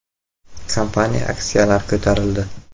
Kompaniya aksiyalari ko‘tarildi.